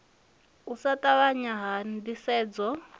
u sa ṱavhanya ha ndisedzo